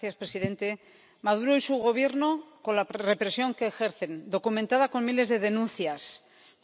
Señor presidente, Maduro y su Gobierno, con la represión que ejercen —documentada con miles de denuncias—,